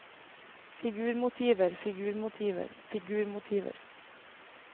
figurmotiver figurmotiver figurmotiver